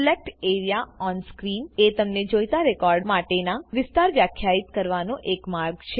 select A R E A on screen એ તમે જોઈતા રેકોર્ડ માટેના વિસ્તાર વ્યાખ્યાયિત કરવાનો એક માર્ગ છે